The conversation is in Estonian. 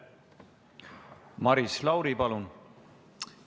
Maris Lauri, palun!